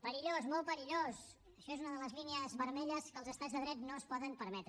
perillós molt perillós això és una de les línies vermelles que els estats de dret no es poden permetre